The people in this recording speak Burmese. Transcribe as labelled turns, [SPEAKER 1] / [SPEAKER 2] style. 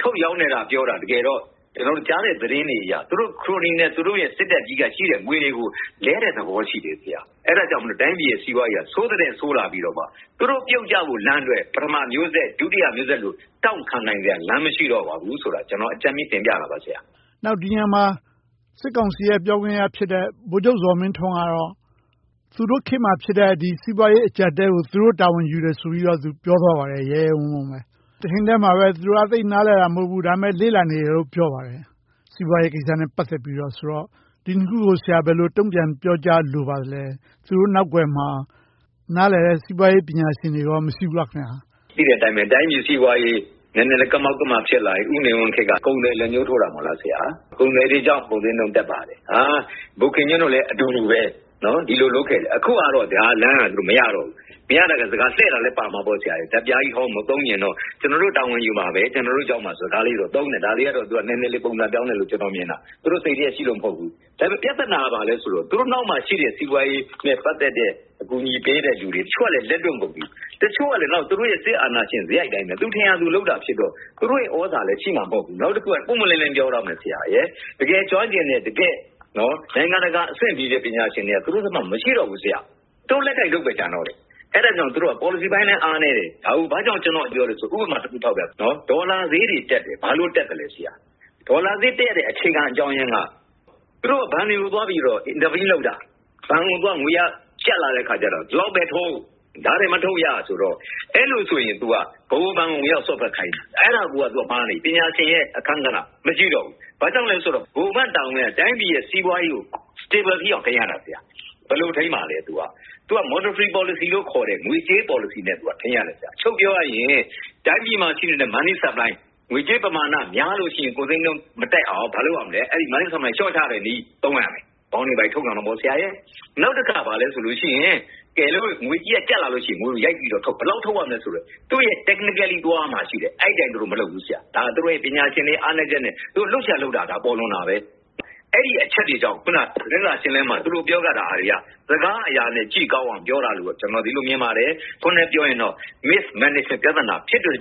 [SPEAKER 1] ထုတ်ရောင်းနေတယ်လို့သာ ပြောတာ၊ တကယ်တော့ ကျနော်တို့ ကြားနေရတဲ့ သတင်းတွေအရ သူတို့ ခရိုနီနဲ့ စစ်တပ်က ရှိတဲ့ငွေတွေကို လဲလှယ်နေတဲ့သဘော ရှိတယ်။ အဲဒီအတွက် တိုင်းပြည်ရဲ့ စီးပွားရေးက ဆိုးသထက်ဆိုးလာပြီတော့ သူတို့ပြုတ်ကျဖို့အတွက် ပထမမျိုးဆက်၊ ဒုတိယမျိုးဆက်လို တောင့်ခံနိုင်စရာ လမ်းမရှိတော့ဘူးဆိုတာကို အကြမ်းမျဉ်းတင်ပြတာပါ။
[SPEAKER 2] ဒီနေရာမှာ စစ်ကောင်စီရဲ့ ပြောခွင့်ရဖြစ်တဲ့ ဗိုလ်ချုပ်ဇော်မင်းထွန်းကတော့ သူတို့ခေတ်မှာဖြစ်တဲ့ စီးပွားရေးအကျပ်အတည်းကို သူတို့တာဝန်ယူတယ်ဆိုပြီးတော့ ပြောသွားပါတယ်။ ရဲရဲဝံ့ဝံ့ပဲ။ တချိန်တည်းမှာပဲ သူတို့က သိပ်နားလည်တာ မဟုတ်ဘူး၊ လေ့လာနေပါတယ်လို့ ပြောပါတယ်။ စီးပွားရေးကိစ္စနဲ့ ပတ်သက်ပြီးတော့ဆိုတော့ ဒီနှစ်ခုကို ဆရာ ဘယ်လိုတုံ့ပြန်ပြောကြားလိုပါသလဲ။ သူတို့နောက်ကွယ်မှာ နားလည်တဲ့ စီးပွားရေးပညာရှင်တွေ မရှိဘူးလား။
[SPEAKER 1] သိတဲ့အတိုင်းပဲ တိုင်းပြည်စီးပွားရေး နည်းနည်းကမောက်ကမ ဖြစ်လာပြီ၊ ဦးနေဝင်းခေတ်က ကုန်သည်လက်ညှိုးထိုးတာပဲ။ ကုန်သည်တွေကြောင့် ကုန်ဈေးနှုန်း တက်ပါတယ်။ ဗိုလ်ခင်ညွှန့်တို့လည်း အတူူတူပဲ။ ဒီလိုလုပ်ခဲ့တယ်။ အခုဟာကတော့ အဲဒီလမ်းက မရတော့ဘူး။ မရတော့ စကားလှည့်တာလဲပါမှာပေါ့။ ဓါတ်ပြားဟောင်းကြီး မသုံးချင်တော့ ကျနော်တို့ တာဝန်ယူပါမယ်။ ကျနော်တို့ကြောင့်ပါဆိုတာ သုံးတယ်။ ဒါလေးကတော့ နည်းနည်းလေး ပုံစံပြောင်းတယ်လို့ ကျနော်မြင်တာ။ သူတို့စိတ်ထဲရှိလို့ မဟုတ်ဘူး။ ဒါပေမဲ့ ပြဿနာက ဘာလဲဆိုတော့ သူတို့နောက်မှာရှိတဲ့ စီးပွားရေးနဲ့ ပတ်သက်တဲ့ အကူအညီပေးတဲ့လူတွေ။ တချို့ကလဲ လက်တွန့်ကုန်ပြီ။ တချို့ကလဲ သူတို့ရဲ့ စစ်အာဏာရှင်စရိုက်အတိုင်း ထင်ရာလုပ်တာဖြစ်တော့ သူတို့ရဲ့ သြဇာလည်းရှိမှာ မဟုတ်ဘူး။ နောက်တစ်ခုက ပွင့်ပွင့်လင်းလင်း ပြောရရင် တကယ်ကျွမ်းကျင်တဲ့၊ တကယ့်နိုင်ငံတကာအဆင့်မီတဲ့ ပညာရှင်တွေက သူတို့ဘက်မှာ မရှိတော့ဘူး။ သူတို့ လက်ကိုင်တုတ်ပဲ ကျန်တော့တယ်။ အဲဒါကြောင့် သူတို့က ပေါ်လစီပိုင်းလည်း အားနည်းတယ်။ ဒါကို ဘာကြောင့် ကျနော်က ပြောလဲဆိုရင် ဥပမာတစ်ခု ထောက်ပြမယ်။ ဒေါ်လာဈေးတွေတက်တယ်။ ဘာလို့တက်သလဲဆိုတော့ ဒေါ်လာဈေးတက်တဲ့ အခြေခံအကြောင်းရင်းက သူတို့က ဘဏ်တွေကိုသွားပြီးတော့ လာဘ်ပေးလုပ်တာ။ ဘဏ်တွေက ငွေအားကျပ်လာတဲ့အခါကြတော့ ဒီလောက်ပဲထုတ်၊ ဒါထက်မထုတ်ရဆိုတော့ အဲဒါဆိုရင် ဗဟိုဘဏ်ကို ဝင်ရောက်စွက်ဖက်ခိုင်းတယ်။ အဲဒါကိုက မှားနေပြီ။ ပညာရှင်ရဲ့ အခန်းကဏ္ဍ မရှိတော့ဘူး။ ဘာကြောင့်လဲဆိုတော့ ဗဟိုဘဏ်တာဝန်က တိုင်းပြည်ရဲ့ စီးပွားရေးကို stable ဖြစ်အောင် ထိန်းရတာ။ ဘယ်လိုထိန်းမလဲ။ သူက monetary policy လို့ခေါ်တဲ့ ငွေကြေးပေါ်လစီနဲ့ ထိန်းရတယ်။ အချုပ်ပြောရရင် တိုင်းပြည်မှာရှိတဲ့ money supply ငွေကြေးပမာဏ များလို့ရှိရင် ကုန်ဈေးနှုန်းမတက်အောင် ဘာလုပ်ရမလဲ။ money supply ကို လျှော့ချတဲ့နည်းကို သုံးရတယ်။ Bond တွေ ဘာတွေထုတ်ရောင်းရတယ်။ နောက်တစ်ခါ ဘယ်လိုလုပ်လဲဆိုရင် ငွေကြေးကျပ်လာလို့ရှိရင် ငွေကိုရိုက်ပြီးတော့ထုတ်။ ဘယ်လောက်ထုတ်ရမလဲဆိုတာ technically သွားရမှာ ရှိတယ်။ အဲဒီအတိုင်း သူတို့မလုပ်ဘူး။ အဲဒါ သူတို့ရဲ့ ပညာရှင်တွေ အားနည်းချက်နဲ့ သူတို့လုပ်ချင်ရာလုပ်တာ ပေါ်လွင်တာပဲ။ အဲဒီအချက်တွေကြောင့် အခုန သတင်းစာရှင်းလင်းပွဲမှာ သူတို့ပြောခဲ့တာတွေက စကားအရာနဲ့ ကြည့်ကောင်းအောင် ပြောတာလို့ပဲ မြင်ပါတယ်။ တစ်ခွန်းတည်းနဲ့ ပြောရရင်တော့ mismanagement ပြဿနာ ဖြစ်တဲ့